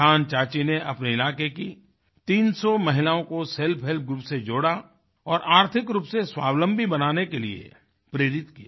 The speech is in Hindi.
किसान चाची ने अपने इलाके की 300 महिलाओं को सेल्फ हेल्प ग्रुप से जोड़ा और आर्थिक रूप से स्वावलंबी बनाने के लिए प्रेरित किया